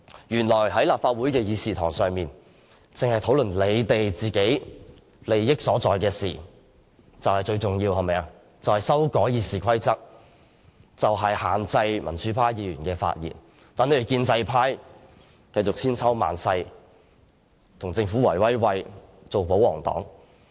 原來立法會的議事堂只是用來討論他們利益所在的事情，就是修改《議事規則》以限制民主派議員的發言，讓建制派繼續千秋萬世，與政府"圍威喂"，繼續做保皇黨。